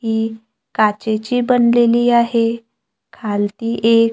एक काचेची बनलेली आहे खालती एक--